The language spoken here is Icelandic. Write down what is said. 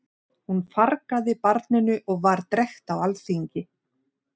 Hún fargaði barninu og var drekkt á alþingi.